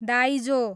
दाइजो